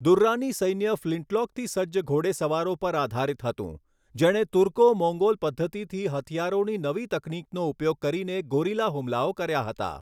દુર્રાની સૈન્ય ફ્લિંટલૉકથી સજ્જ ઘોડેસવારો પર આધારિત હતું, જેણે તુર્કો મોંગોલ પદ્ધતિથી હથિયારોની નવી તકનીકનો ઉપયોગ કરીને ગોરિલા હુમલાઓ કર્યા હતા.